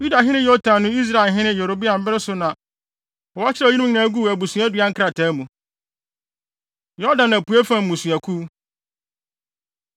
Yudahene Yotam ne Israelhene Yeroboam bere so na wɔkyerɛw eyinom nyinaa guu abusuadua nkrataa mu. Yordan Apuei Fam Mmusuakuw